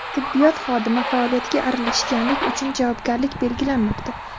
Tibbiyot xodimi faoliyatiga aralashganlik uchun javobgarlik belgilanmoqda.